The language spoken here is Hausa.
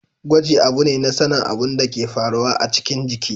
Gwaji abu ne na sanin abin da ke faruwa a cikin jiki.